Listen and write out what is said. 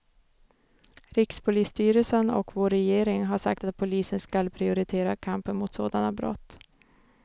Rikspolisstyrelsen och vår regering har sagt att polisen skall prioritera kampen mot sådana brott.